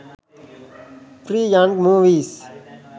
free young movies